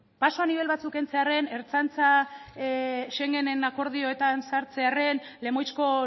paso a nivel batzuk kentzearrek ertzaintza schengenen akordioetan sartzearren lemoizko